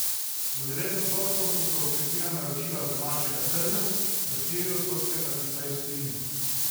Za devet odstotkov so se okrepila naročila z domačega trga, za štiri odstotke pa tista iz tujine.